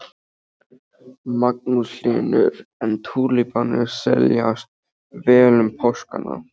Magnús Hlynur: En túlípanarnir seljast vel um páskana?